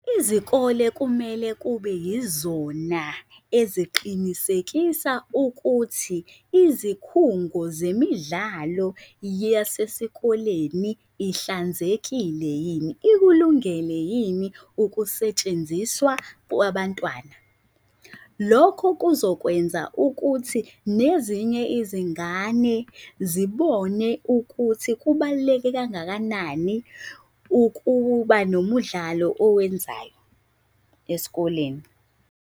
Izikole kumele kube yizona eziqinisekisa ukuthi izikhungo zemidlalo yasesikoleni ihlanzekile yini? Ikulungele yini ukusetshenziswa kwabantwana? Lokho kuzokwenza ukuthi nezinye izingane zibone ukuthi kubaluleke kangakanani ukuba nomudlalo owenzayo esikoleni.